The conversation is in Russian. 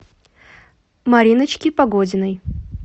мариночки погодиной